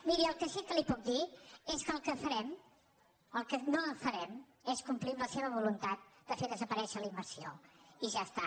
miri el que sí que li puc dir és que el que no farem és complir amb la seva voluntat de fer desaparèixer la im·mersió i ja està